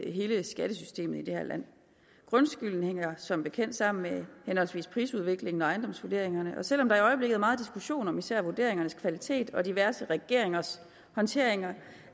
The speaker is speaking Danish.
hele skattesystemet i det her land grundskylden hænger som bekendt sammen med henholdsvis prisudviklingen og ejendomsvurderingerne og selv om der i øjeblikket er meget diskussion om især vurderingernes kvalitet og diverse regeringers håndtering